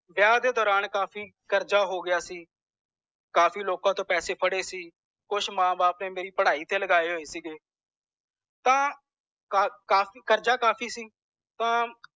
ਵਿਆਹ ਦੇ ਦੌਰਾਨ ਕਾਫੀ ਕਾਰਜ ਹੋਗਇਆ ਗਯਾ ਸੀ ਕਾਫੀ ਲੋਕਾਂ ਤੋਂ ਪੈਸੇ ਫੜੇ ਸੀ ਕੁਛ ਮਾਂ ਬਾਪ ਨੇ ਮੇਰੀ ਪੜ੍ਹਾਈ ਤੇ ਲਗਾਏ ਹੋਏ ਸੀਗੇ ਤਾਂ ਕਾ ਕਾਫੀ ਕਰਜਾ ਕਾਫੀ ਸੀ